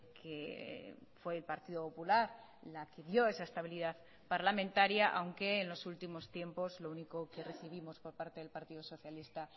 que fue el partido popular la que dio esa estabilidad parlamentaria aunque en los últimos tiempos lo único que recibimos por parte del partido socialista